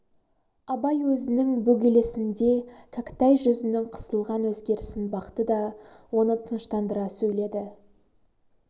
абай өзінің бөгелісінде кәкітай жүзінің қысылған өзгерісін бақты да оны тыныштандыра сөйледі